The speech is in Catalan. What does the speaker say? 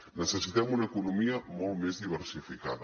necessitem una economia molt més diversificada